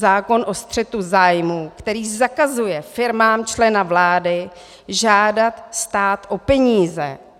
Zákon o střetu zájmů, který zakazuje firmám člena vlády žádat stát o peníze.